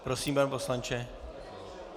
Prosím, pane poslanče.